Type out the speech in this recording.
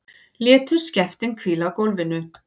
Létu skeftin hvíla á gólfinu.